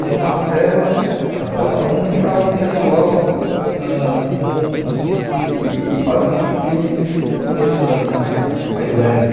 Então, uma cela a cela um ficava o pessoal ãh com que faziam os crimes ãh mais mais leves.